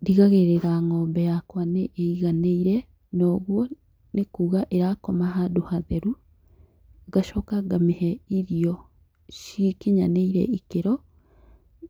Ndigagĩrĩra ng'ombe yakwa nĩ ĩiganĩire ũguo nĩ kuga ĩra koma handũ hatheru, ngacoka ngamĩhe irio cikinyanĩire ikĩro